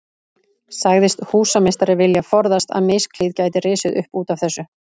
Sagðist húsameistari vilja forðast að misklíð gæti risið upp út af þessu.